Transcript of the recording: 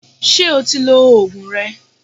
Ṣé o ti lo Ògùn rẹ?